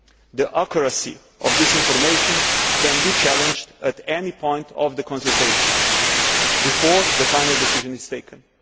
The accuracy of this information can be challenged at any point of the consultations, before the final decision is taken.